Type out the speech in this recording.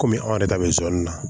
Kɔmi anw yɛrɛ ta bɛ soni na